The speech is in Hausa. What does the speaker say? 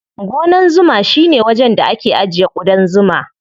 Gonan zuma shine wajen da ake ajiye ƙudan zuma.